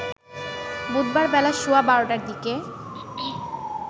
বুধবার বেলা সোয়া ১২টার দিকে